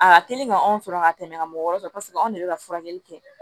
A ka teli ka anw sɔrɔ ka tɛmɛ ka mɔgɔ wɔɔrɔ kan paseke anw de bɛ ka furakɛli kɛ